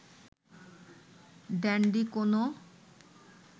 dandy কোনও